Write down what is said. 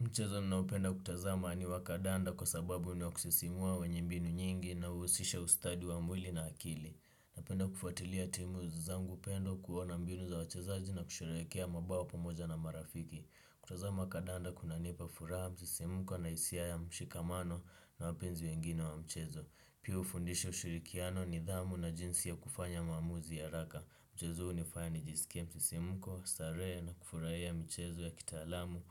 Mchezo ninaopenda kutazama ni wa kandanda kwa sababu ni wa kusisimua wenye mbinu nyingi na huhusisha ustadi wa mwili na akili. Napenda kufuatilia timu zangu upendo kuona mbinu za wachezaji na kusherekea mabao pamoja na marafiki. Kutazama kandanda kunanipa furaha msisimko na hisia ya mshikamano na wapenzi wengine wa mchezo. Pia hufundisha ushirikiano nidhamu na jinsi ya kufanya maamuzi ya haraka. Mchezo hunifanya nijisike msisimko, starehe na kufurahia michezo ya kitaalamu